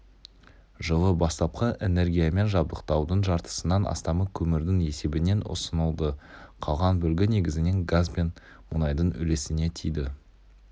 жылы бастапқы энергиямен жабдықтаудың жартысынан астамы көмірдің есебінен ұсынылды қалған бөлігі негізінен газ бен мұнайдың үлесіне тиді